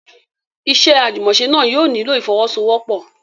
Iṣẹ́ àjùmọ̀ṣe náà yóò nílò ìfọ́wọ́sọwọ́pọ̀.